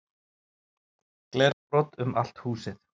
Glerbrot um allt húsið